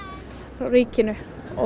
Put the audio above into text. frá ríkinu